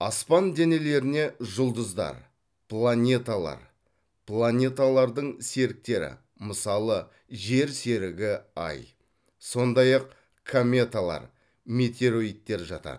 аспан денелеріне жұлдыздар планеталар планеталардың серіктері мысалы жер серігі ай сондай ақ кометалар метеориттер жатады